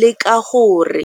leka gore.